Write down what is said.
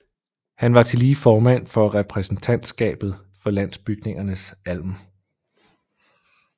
Han var tillige formand for repræsentantskabet for Landbygningernes alm